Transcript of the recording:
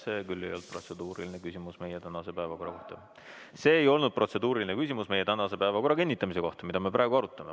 See ei olnud protseduuriline küsimus meie tänase päevakorra kohta ja see ei olnud protseduuriline küsimus meie tänase päevakorra kinnitamise kohta, mida me praegu arutame.